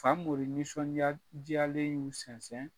Famori nisɔnya diyalen y'u sɛnsɛn